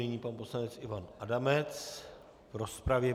Nyní pan poslanec Ivan Adamec v rozpravě.